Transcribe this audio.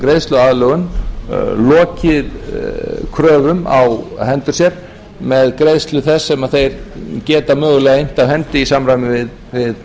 greiðsluaðlögun lokið kröfum á hendur sér með greiðslu þess sem þeir geta mögulega innt af hendi í samræmi við greiðslugetu það